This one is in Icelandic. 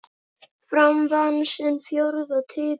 Fram vann sinn fjórða titil.